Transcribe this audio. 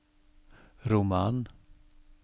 roman